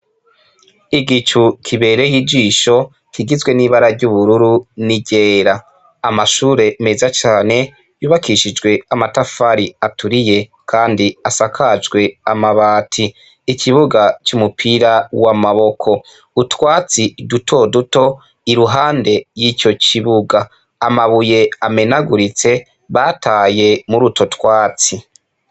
Igicu kibereye ijisho kigizwe n'ibara ry'ubururu n'iryera . Amashure meza cane yubakishijwe amatafari aturiye Kandi asakajwe amabati. Ikibuga c'umupira w'amaboko, utwatsi dutoduto iruhande y'ico kibuga, amabuye amenaguritse bataye mur'utwo twatsi.